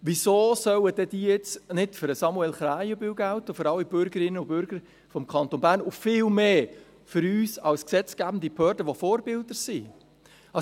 Wieso sollen diese denn jetzt nicht für Samuel Krähenbühl, für alle Bürgerinnen und Bürger des Kantons Bern und vielmehr noch für uns als gesetzgebende Behörde, die wir Vorbilder sind, gelten?